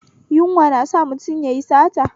Yunwa na sa mutum yayi sata